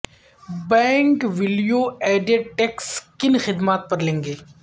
bank value added tax کن خدمات پر لیں گے